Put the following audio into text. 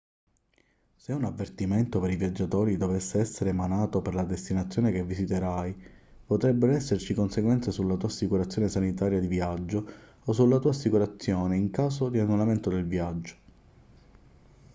se un avvertimento per i viaggiatori dovesse essere emanato per la destinazione che visiterai potrebbero esserci conseguenze sulla tua assicurazione sanitaria di viaggio o sulla tua assicurazione in caso di annullamento del viaggio